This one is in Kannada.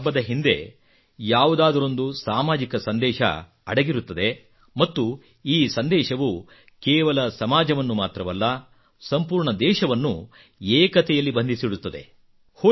ಪ್ರತಿ ಹಬ್ಬದ ಹಿಂದೆ ಯಾವುದಾದರೊಂದು ಸಾಮಾಜಿಕ ಸಂದೇಶ ಅಡಗಿರುತ್ತದೆ ಮತ್ತು ಈ ಸಂದೇಶವು ಕೇವಲ ಸಮಾಜವನ್ನು ಮಾತ್ರವಲ್ಲ ಸಂಪೂರ್ಣ ದೇಶವನ್ನು ಏಕತೆಯಲ್ಲಿ ಬಂಧಿಸಿಡುತ್ತದೆ